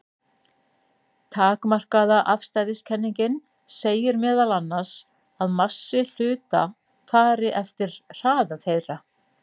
Takmarkaða afstæðiskenningin segir meðal annars að massi hluta fari eftir hraða þeirra.